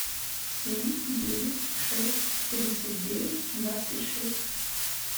семь девять шесть тридцать девять двадцать шесть